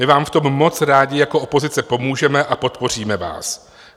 My vám v tom moc rádi jako opozice pomůžeme a podpoříme vás.